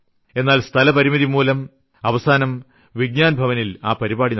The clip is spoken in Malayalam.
എന്നാൽ സ്ഥലപരിമിതിമൂലം അവസാനം വിജ്ഞാൻ ഭവനിൽ ആ പരിപാടി നടത്തി